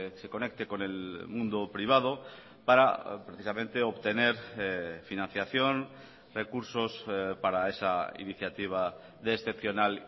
se conecte con el mundo privado para precisamente obtener financiación recursos para esa iniciativa de excepcional